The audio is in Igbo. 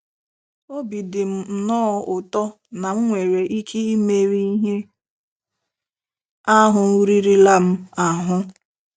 Obi dị m nnọọ ụtọ na m nwere ike imeri ihe ahụ ririla m ahụ́.